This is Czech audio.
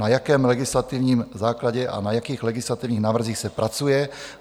Na jakém legislativním základě a na jakých legislativních návrzích se pracuje?